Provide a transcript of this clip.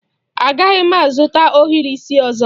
Agaghị m azụta ohiri isi ọzọ.